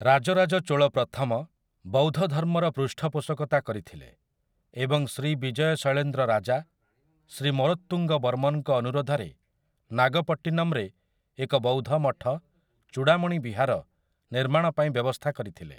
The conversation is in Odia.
ରାଜରାଜ ଚୋଳ ପ୍ରଥମ, ବୌଦ୍ଧଧର୍ମର ପୃଷ୍ଠପୋଷକତା କରିଥିଲେ ଏବଂ ଶ୍ରୀବିଜୟ ଶୈଳେନ୍ଦ୍ର ରାଜା, ଶ୍ରୀ ମରୋତ୍ତୁଙ୍ଗବର୍ମନଙ୍କ ଅନୁରୋଧରେ ନାଗପଟ୍ଟିନମରେ ଏକ ବୌଦ୍ଧ ମଠ, ଚୂଡାମଣି ବିହାର, ନିର୍ମାଣ ପାଇଁ ବ୍ୟବସ୍ଥା କରିଥିଲେ ।